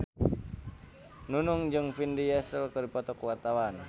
Nunung jeung Vin Diesel keur dipoto ku wartawan